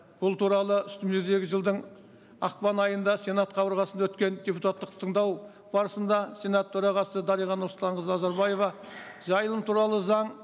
бұл туралы үстіміздегі жылдың ақпан айында сенат қабырғасында өткен депутаттық тыңдау барысында сенат төрағасы дариға нұрсұлтанқызы назарбаева жайылым туралы заң